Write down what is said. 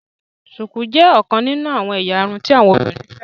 shuku jé ọkàn nínú àwọn ẹ̀yà irun tí àwọn obìnrin féràn